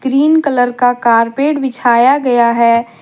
Green colour का carpet बिछाया गया है।